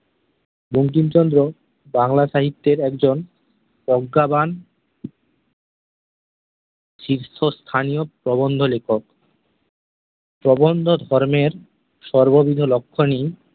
বঙ্কিমচন্দ্র বাংলা সাহিত্যের একজন প্রজ্ঞাবান শীর্ষস্থানীয় প্রবন্ধলেখক । প্রবন্ধ-ধর্মের সর্ববিধলক্ষ্মণী